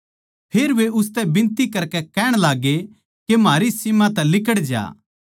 फेर वे उसतै बिनती करकै कहण लाग्गे के म्हारी सीम तै लिकड़ज्या